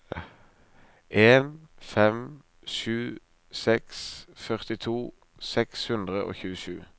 en fem sju seks førtito seks hundre og tjuesju